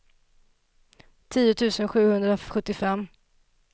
tio tusen sjuhundrasjuttiofem